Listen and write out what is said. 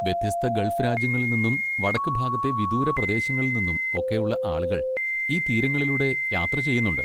വ്യത്യസ്ത ഗൾഫ് രാജ്യങ്ങളിൽ നിന്നും വടക്ക് ഭാഗത്തെ വിദൂര പ്രദേശങ്ങളിൽ നിന്നും ഒക്കെയുള്ള ആളുകൾ ഈ തീരങ്ങളിലൂടെ യാത്ര ചെയ്യുന്നുണ്ട്.